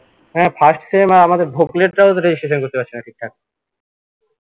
হ্যা first sem আমাদের রা ও তো registration করতে পারছেনা ঠিকঠাক